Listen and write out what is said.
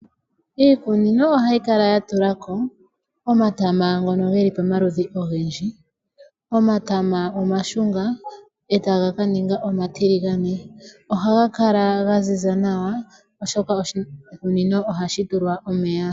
Iimeno ohayi kala yatulako, omatama ngono geli pamaludhi ogendji, omatama omashunga, e taga kaninga omatiligane. Ohaga kala gaziza nawa, oshoka oshikunino ohashi tilwa omeya.